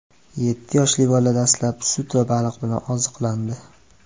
Yetti yoshli bola dastlab sut va baliq bilan oziqlandi.